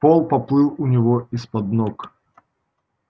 пол поплыл у него из-под ног